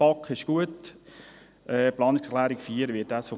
Ein Bericht an die BaK ist gut;